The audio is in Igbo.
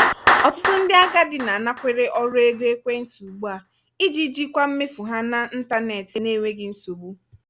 ọtụtụ ndị agadi na-anakwere ọrụ ego ekwentị ugbu a iji jikwaa mmefu ha na ntanetị n'enweghị nsogbu.